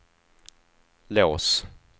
lås